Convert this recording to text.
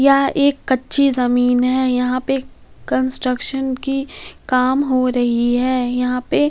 यहां एक कच्ची जमीन है यहां पे कंस्ट्रक्शन की काम हो रही हैं यहां पे--